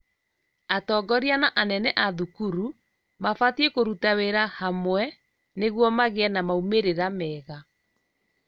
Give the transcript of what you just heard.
Atongoria na anene a thukuru mabatiĩ kũruta wĩra hamwe nĩguo magĩe na maumĩrira mega